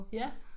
Ja